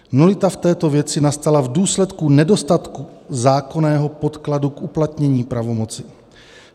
Nulita v této věci nastala v důsledku nedostatku zákonného podkladu k uplatnění pravomoci.